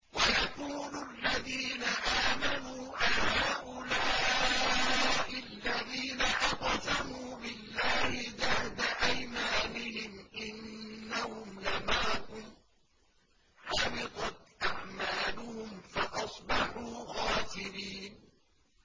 وَيَقُولُ الَّذِينَ آمَنُوا أَهَٰؤُلَاءِ الَّذِينَ أَقْسَمُوا بِاللَّهِ جَهْدَ أَيْمَانِهِمْ ۙ إِنَّهُمْ لَمَعَكُمْ ۚ حَبِطَتْ أَعْمَالُهُمْ فَأَصْبَحُوا خَاسِرِينَ